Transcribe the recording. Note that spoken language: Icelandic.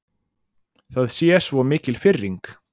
Það sé svo mikil firring.